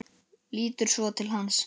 Lítur svo til hans.